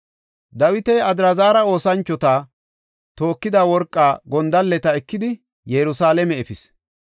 Dawiti Adraazara oosanchoti tookida worqa gondalleta ekidi Yerusalaame efis.